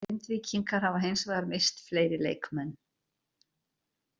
Grindvíkingar hafa hins vegar misst fleiri leikmenn.